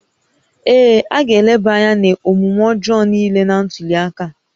Ee, a ga-eleba anya n'omume ọjọọ niile na ntuli aka